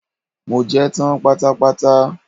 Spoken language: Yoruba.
Mo jẹ́ tán pátápátá.